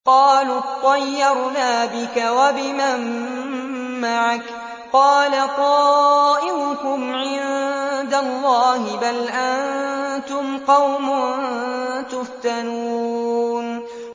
قَالُوا اطَّيَّرْنَا بِكَ وَبِمَن مَّعَكَ ۚ قَالَ طَائِرُكُمْ عِندَ اللَّهِ ۖ بَلْ أَنتُمْ قَوْمٌ تُفْتَنُونَ